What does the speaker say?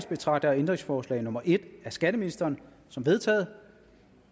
betragter jeg ændringsforslag nummer en af skatteministeren som vedtaget